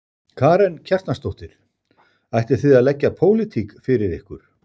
Karen Kjartansdóttir: Ætlið þið að leggja pólitík fyrir ykkur?